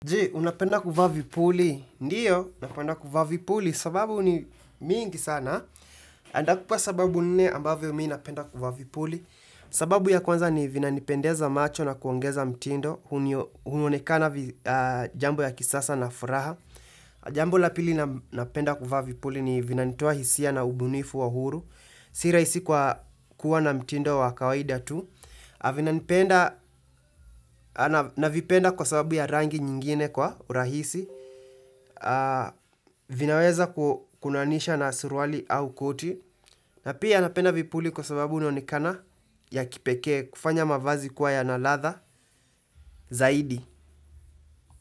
Je, unapenda kuvaa vipuli. Ndiyo, napenda kuvaa vipuli sababu ni mingi sana. Andakupa sababu nne ambavyo mimi napenda kuvaa vipuli. Sababu ya kwanza ni vinanipendeza macho na kuongeza mtindo. Hunonekana jambo ya kisasa na furaha. Jambo la pili napenda kuvaa vipuli ni vinanitoa hisia na ubunifu wa huru. Sira hisi kwa kuwa na mtindo wa kawaida tu. Na vipenda kwa sababu ya rangi nyingine kwa urahisi vinaweza kunaanisha na suruali au koti na pia napenda vipuli kwa sababu inaonekana ya kipekee kufanya mavazi kwa ya na ladha zaidi.